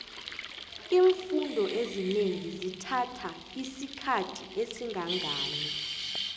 imfundo ezinengi zithakha isikhathi esingangani